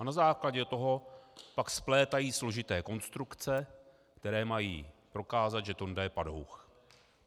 A na základě toho pak splétají složité konstrukce, které mají prokázat, že Tonda je padouch.